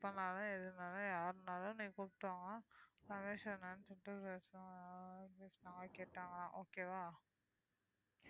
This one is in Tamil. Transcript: எப்பனாலும் எதுனாலும் யாருனாலும் நீங்க கூப்பிட்டு வாங்க okay வா